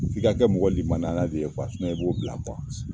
F'i ka kɛ mɔgɔ limaniyalan de ye kuwa sinɔ i b'o bila kuwa